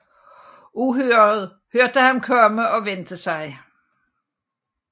Uhyret hørte ham komme og vendte sig